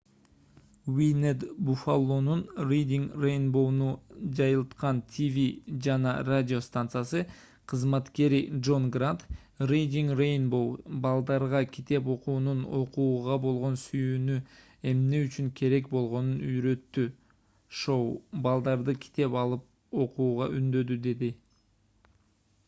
wned buffalo’нун reading rainbow’ну жайылткан тв жана радио станциясы кызматкери джон грант reading rainbow балдарга китеп окуунун окууга болгон сүйүүнү эмне үчүн керек болгонун үйрөттү — [шоу] балдарды китеп алып окууга үндөдү деди